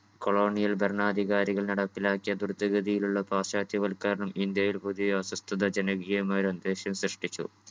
colonial ഭരണാധികാരികൾ നടപ്പിലാക്കിയ ദുരിതഗതിയിലുള്ള പാശ്ചാത്യ വൽക്കരണം ഇന്ത്യയിൽ പുതിയ അസ്വസ്ഥതാ ജനകീയമായൊരു അന്തരീക്ഷം സൃഷ്ടിച്ചു